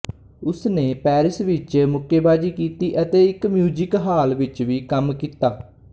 ਉਸਨੇ ਪੈਰਿਸ ਵਿੱਚ ਮੁੱਕੇਬਾਜ਼ੀ ਕੀਤੀ ਅਤੇ ਇੱਕ ਮਿਊਜ਼ਕ ਹਾਲ ਵਿੱਚ ਵੀ ਕੰਮ ਕੀਤਾ